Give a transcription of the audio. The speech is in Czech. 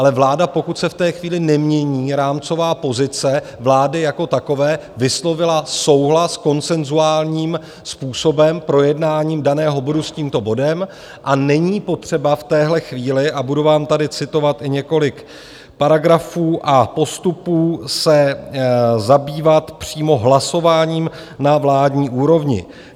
Ale vláda, pokud se v té chvíli nemění rámcová pozice vlády jako takové, vyslovila souhlas konsenzuálním způsobem, projednáním daného bodu, s tímto bodem a není potřeba v téhle chvíli, a budu vám tady citovat i několik paragrafů a postupů, se zabývat přímo hlasováním na vládní úrovni.